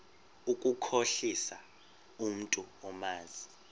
ukukhohlisa umntu omazi